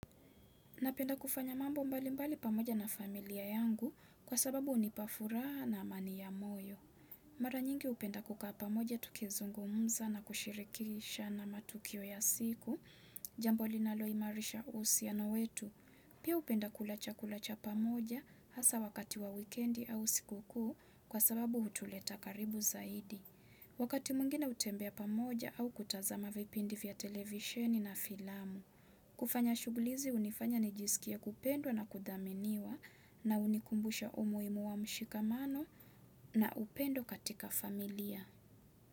Napenda kufanya mambo mbali mbali pamoja na familia yangu kwa sababu unipa furaha na amani ya moyo. Mara nyingi hupenda kukaa pamoja tukizungumza na kushirikisha na matukio ya siku. Jambo linalo imarisha uhusiano wetu. Pia hupenda kula cha chakula pamoja hasa wakati wa wikendi au usiku kuu kwa sababu hutuleta karibu zaidi. Wakati mwingine hutembea pamoja au kutazama vipindi vya televisheni na filamu. Kufanya shughuli hizi unifanya nijisikie kupendwa na kudhaminiwa na unikumbusha umuhimu wa mshikamano na upendo katika familia.